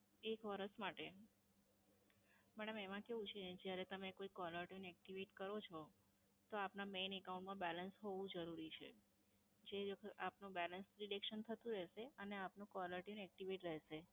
એક વર્ષ માટે? madam એમાં કેવું છે, જ્યારે તમે કોઈ caller tune activate કરો છો, તો આપના main account balance હોવું જરૂરી છે. જે આપનું balance deduction થતું રહેશે અને આપનું caller tune activate રહેશે.